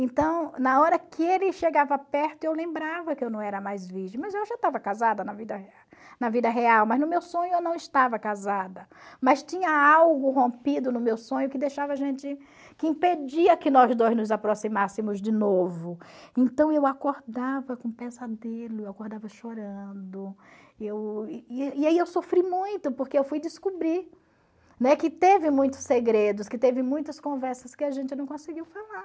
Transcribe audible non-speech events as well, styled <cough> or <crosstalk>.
então na hora que ele chegava perto eu lembrava que eu não era mais virgem mas eu já estava casada na vida <unintelligible> na vida real mas no meu sonho eu não estava casada mas tinha algo rompido no meu sonho que deixava a gente que impedia que nós dois nos aproximássemos de novo então eu acordava com pesadelo eu acordava chorando eu e aí eu sofri muito porque eu fui descobrir que teve muitos segredos que teve muitas conversas que a gente não conseguiu falar